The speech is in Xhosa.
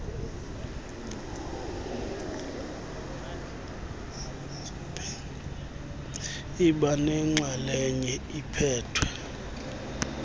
iba nenxalenye ephethwe